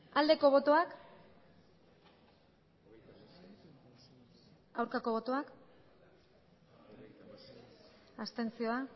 aldeko botoak aurkako botoak abstentzioa